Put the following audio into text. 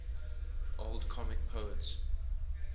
old comic poets